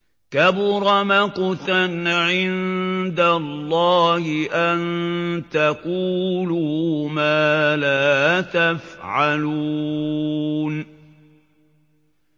كَبُرَ مَقْتًا عِندَ اللَّهِ أَن تَقُولُوا مَا لَا تَفْعَلُونَ